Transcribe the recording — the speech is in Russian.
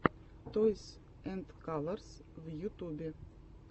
тойс энд калорс в ютубе